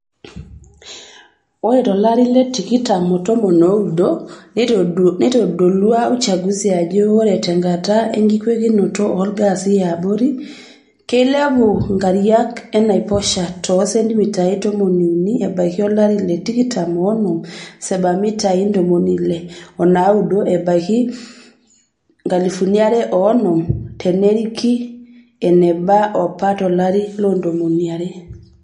Ore tolari le 2019,neitodulua uchungusi ajo ore tenkata enkingwekinoto olgaasi yaabori, keilepu nkariak enaiposha too sentimitai tomoniuni ebaiki olri le 2050 o sebtimitai ntomoni ile onaaudo ebaiki 2100 teniirki eneba apa tolari le 200.[long sentence ]